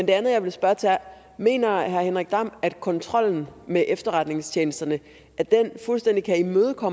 det andet jeg vil spørge til er mener herre henrik dam at kontrollen med efterretningstjenesterne fuldstændig kan imødegå